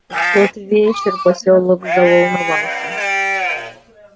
в тот вечер посёлок заволновался